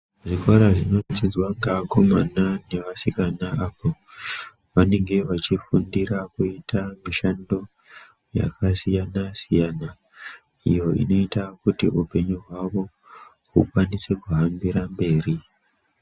Zvikora zvinodzidzwa ngeakomana nevasikana apo vanenge vachifundira kuti mishando yakasiyana-siyana iyo inoita kuti upenyu hwavo hukwanise kuhambira mberi.